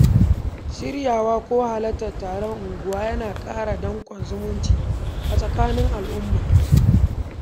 Shiryawa ko halartar taron unguwa yana ƙara danƙon zumunci a tsakanin al’umma.